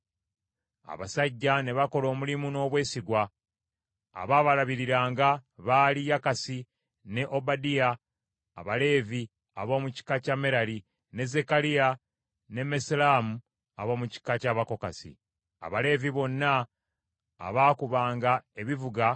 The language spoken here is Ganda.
Abasajja ne bakola omulimu n’obwesigwa. Abaabalabiriranga baali: Yakasi ne Obadiya Abaleevi ab’omu kika kya Merali, ne Zekkaliya ne Mesullamu ab’omu kika ky’Abakokasi. Abaleevi bonna abaakubanga ebivuga